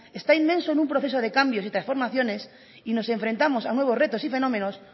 está inmerso en un proceso de cambios y transformaciones y nos enfrentamos a nuevos retos y fenómenos